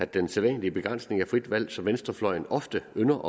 den sædvanlige begrænsning af frit valg som venstrefløjen ofte ynder